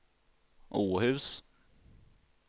Åhus